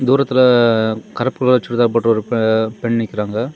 தூரத்துல கருப்பு கலர் சுடிதார் போட்டு ஒரு பெண் நிக்கிறாங்க.